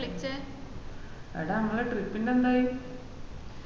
എടാ അമ്മളെ trip ന്റെ എന്തായി